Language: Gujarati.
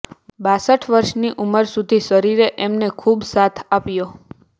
બાસઠ વર્ષની ઉંમર સુધી શરીરે એમને ખૂબ સાથ આપ્યો